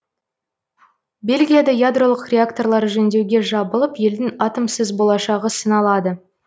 бельгияда ядролық реакторлар жөндеуге жабылып елдің атомсыз болашағы сыналады